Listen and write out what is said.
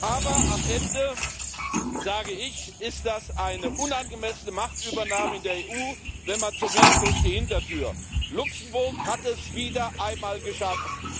Aber am Ende sage ich Das ist eine unangemessene Machtübernahme in der EU, wenn man so will, durch die Hintertür. Luxemburg hat es wieder einmal geschafft.